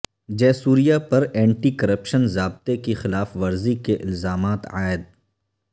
جے سوریا پر anti corruption ضابطے کی خلاف ورزی کے الزامات عائد